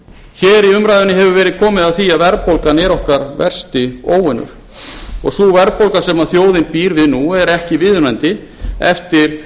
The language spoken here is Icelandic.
hér í umræðunni hefur verið komið að því að verðbólgan er okkar versti óvinur og sú verðbólga sem þjóðin býr við nú er ekki viðunandi eftir